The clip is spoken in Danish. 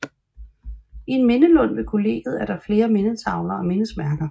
I en mindelund ved kollegiet er der flere mindetavler og mindesmærker